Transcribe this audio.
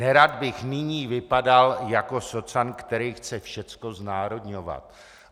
Nerad bych nyní vypadal jako socan, kterej chce všecko znárodňovat.